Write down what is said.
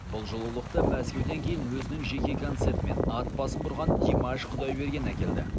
бұл жылулықты мәскеуден кейін өзінің жеке концертімен ат басын бұрған димаш құдайберген әкелді